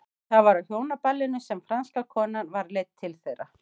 Það var á hjónaballinu sem franska konan var leidd til þeirra.